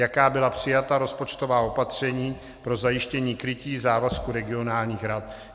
Jaká byla přijata rozpočtová opatření pro zajištění krytí závazku regionálních rad?